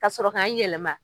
Ka sɔrɔ k'an yɛlɛma.